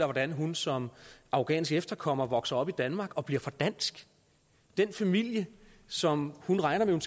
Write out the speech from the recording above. hvordan hun som afghansk efterkommer er vokset op i danmark og bliver for dansk den familie som hun regner med